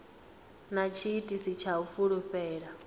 na tshiitisi tsha u fulufhela